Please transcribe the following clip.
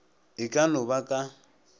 e ka no ba ka